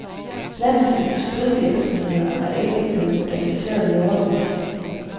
Landets industrivirksomheder er ikke blevet moderniseret i årevis.